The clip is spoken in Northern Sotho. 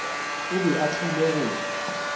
o be a tlile go